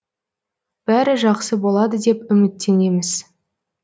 бәрі жақсы болады деп үміттенеміз